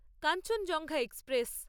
Kanchenjunga express